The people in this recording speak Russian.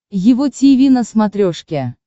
его тиви на смотрешке